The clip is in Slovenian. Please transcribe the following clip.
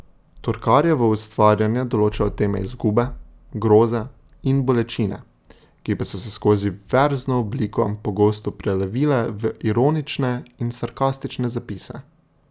Torkarjevo ustvarjanje določajo teme izgube, groze in bolečine, ki pa so se skozi verzno obliko pogosto prelevile v ironične in sarkastične zapise.